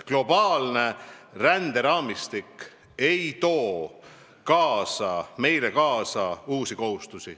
Globaalne ränderaamistik ei too meile kaasa uusi kohustusi.